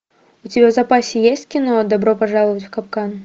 у тебя в запасе есть кино добро пожаловать в капкан